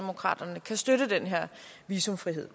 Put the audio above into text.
visumfrihed